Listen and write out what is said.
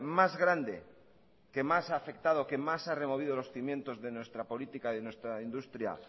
más grande que más ha afectado que más ha removido los cimientos de nuestra política y de nuestra industria